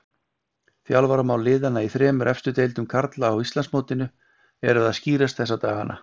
Þjálfaramál liðanna í þremur efstu deildum karla á Íslandsmótinu eru að skýrast þessa dagana.